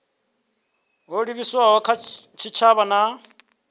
ho livhiswaho kha tshitshavha na